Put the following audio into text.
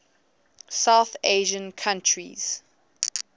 south asian countries